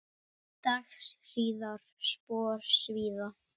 Dags hríðar spor svíða.